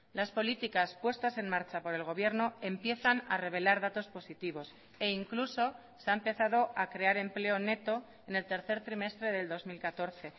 las políticas puestas en marcha por el gobierno empiezan a revelar datos positivos e incluso se ha empezado a crear empleo neto en el tercer trimestre del dos mil catorce